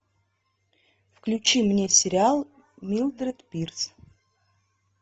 включи мне сериал милдред пирс